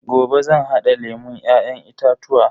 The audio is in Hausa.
Gobe zan hada lemun Ya'yan itatuwa.